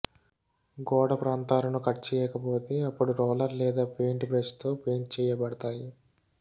గోడ ప్రాంతాలను కట్ చేయకపోతే అప్పుడు రోలర్ లేదా పెయింట్ బ్రష్ తో పెయింట్ చేయబడతాయి